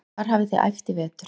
Hvar hafið þið æft í vetur?